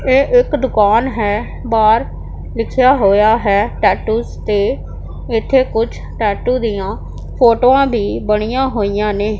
ਇਹ ਇੱਕ ਦੁਕਾਨ ਹੈ ਬਾਹਰ ਲਿਖਿਆ ਹੋਇਆ ਹੈ ਟੈਟੂਜ਼ ਤੇ ਇੱਥੇ ਕੁਛ ਟੈਟੂ ਦੀਆਂ ਫੋਟੋਆਂ ਦੀ ਬਣੀਆਂ ਹੋਈਆਂ ਨੇ।